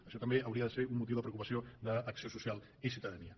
això també hauria de ser un motiu de preocupació d’acció social i ciutadania